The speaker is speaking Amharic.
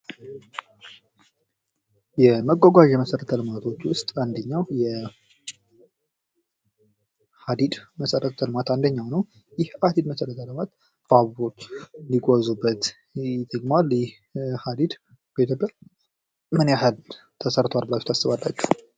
የመጓጓዣ መሰረተ ልማት ውስጥ የሀዲድ መሰረተ ልማት አንዱ ነው ።ይህ ባቡሮች የሚጓዙበት ነው ።በኢትዮጵያ ምን ያህል ተሰርቷል ብላችሁ ታስባላችሁ?